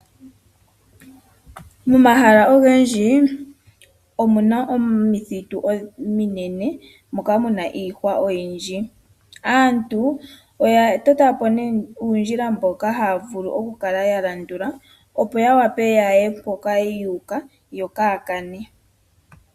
Momahala ogendji omu na omithitu ominene moka mu na iihwa oyindji. Aantu oya tota po uundjila mboka haya vulu okukala ya landula, opo ya wape ya ye mpoka yu uka yo kaya kane.